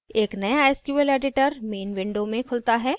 एक नया sqlएडिटर main window में खुलता है